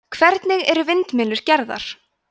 hvernig eru vindmyllur gerðar